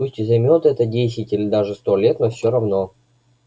пусть и займёт это десять или даже сто лет но всё равно